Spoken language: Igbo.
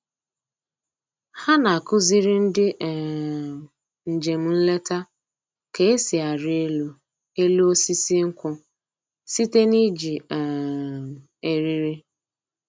Ha na-akụziri ndị um njem nleta ka-esi arị elu elu osisi nkwụ site n'iji um eriri